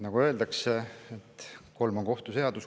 Nagu öeldakse, kolm on kohtu seadus.